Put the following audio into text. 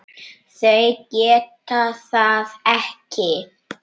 Þau geta það ekki.